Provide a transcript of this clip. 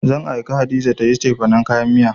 Zan aike Hadiza ta yi cefanen kayan miya.